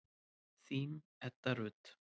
Þín, Edda Rut.